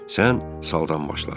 Sən saldan başla.